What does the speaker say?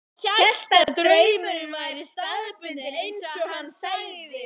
Hélt að draumurinn væri staðbundinn, eins og hann sagði.